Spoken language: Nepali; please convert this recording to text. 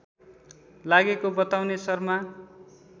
लागेको बताउने शर्मा